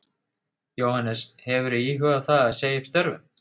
Jóhannes: Hefurðu íhugað það að segja upp störfum?